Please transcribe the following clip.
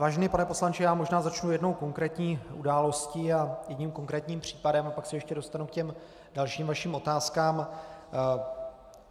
Vážený pane poslanče, já možná začnu jednou konkrétní událostí a jedním konkrétním případem a pak se ještě dostanu k těm dalším vašim otázkám.